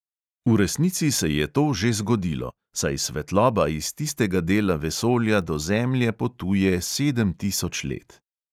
V resnici se je to že zgodilo, saj svetloba iz tistega dela vesolja do zemlje potuje sedem tisoč let.